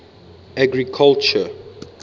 agriculture